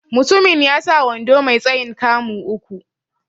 Mutumin ya sa wando mai tsayin 'kamu' uku.